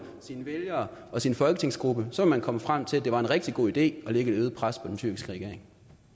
sine vælgere og sin folketingsgruppe så vil komme frem til at det er en rigtig god idé at lægge et øget pres på den tyrkiske regering